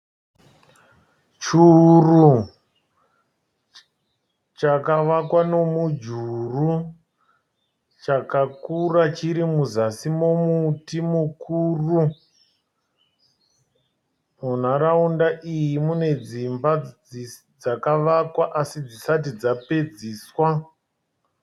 Churu chakavakwa nomujuru. Chakakura chiri muzasi momuti mukuru. Munharaunda iyi mune dzimba dzakavakwa asi dzisati dzapedziswa.